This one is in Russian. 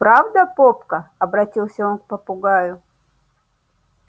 правда попка обратился он к попугаю